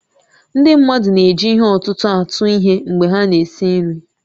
Ndị mmadụ na-eji ihe ọ̀tụ̀tụ̀ atụ ihe mgbe ha na-esi nri